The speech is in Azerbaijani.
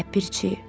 Ləpirçi.